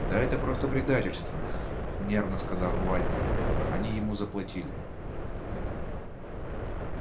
да это просто предательство нервно сказал вальто они ему заплатили